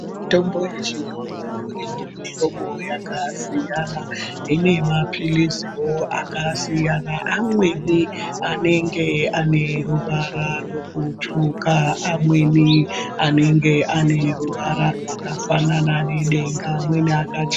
Mitombo yechiyungu ine mihlobo yakasiyana, ine mapiliziwo akasiyana, amweni anenge ane ruvara rwekutsvuka, amweni anege ane ruvara rwakafanana nedenga, amweni akachena.